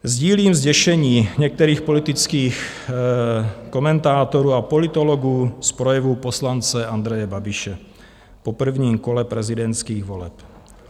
Sdílím zděšení některých politických komentátorů a politologů z projevu poslance Andreje Babiše po prvním kole prezidentských voleb.